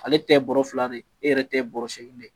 Ale ta ye bɔrɛ fila de ye e yɛrɛ ta ye bɔrɛ seegin de ye